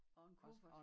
Og en kuffert